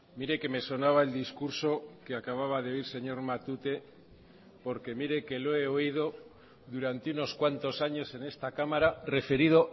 mire que me sonaba el discurso que acababa de oír señor matute porque mire que lo he oído durante unos cuantos años en esta cámara referido